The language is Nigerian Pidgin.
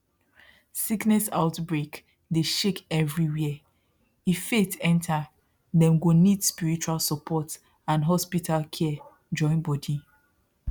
sickness outbreak dey shake everywhere if faith enter dem go need spiritual support and hospital care join body